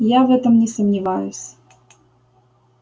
я в этом не сомневаюсь